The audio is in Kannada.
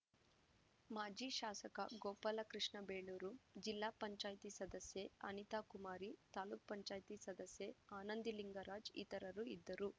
ಮಾಜಿಶಾಸಕ ಗೋಪಾಲಕೃಷ್ಣ ಬೇಳೂರು ಜಿಲ್ಲಾ ಪಂಚಾಯತಿ ಸದಸ್ಯೆ ಅನಿತಾಕುಮಾರಿ ತಾಪಂ ಸದಸ್ಯೆ ಆನಂದಿಲಿಂಗರಾಜ್‌ ಇತರರು ಇದ್ದರು